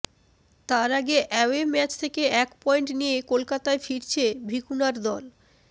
তার আগে away match থেকে এক পয়েন্ট নিয়ে কলকাতায় ফিরছে ভিকুনার দল